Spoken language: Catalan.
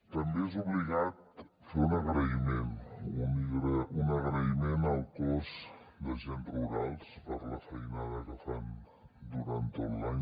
també és obligat fer un agraïment un agraïment al cos d’agents rurals per la feinada que fan durant tot l’any